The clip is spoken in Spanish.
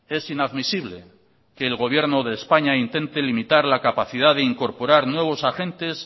es inadmisible que el gobierno de españa intente limitar la capacidad de incorporar nuevos agentes